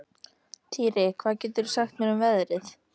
Dýri, hvað geturðu sagt mér um veðrið?